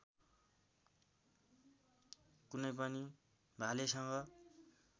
कुनै पनि भालेसँग